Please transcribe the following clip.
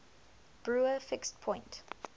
brouwer fixed point